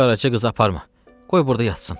Qaraça qızı aparma, qoy burda yatsın.